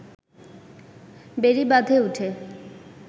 বেড়িবাঁধে উঠে